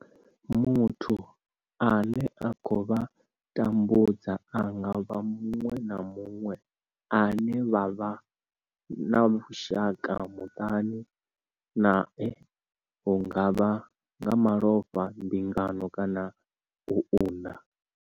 Muthu ane a khou vha tambudza a nga vha muṅwe na muṅwe ane vha vha na vhushaka muṱani nae hu nga vha nga malofha, mbingano kana u unḓa.